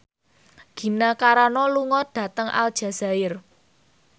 Gina Carano lunga dhateng Aljazair